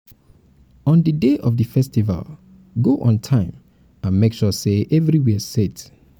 on di day of di festival go on time and make sure say everywhere set